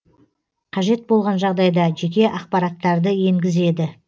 қажет болған жағдайда жеке ақпараттарды енгізеді